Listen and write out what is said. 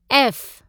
F